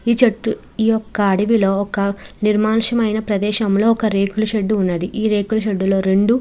ఈ చెట్లు ఈ యొక్క అడవిలోని ఒక నిర్మానుష్యమైన రేకుల షెడ్డు లోని రెండు ఏనుగులు--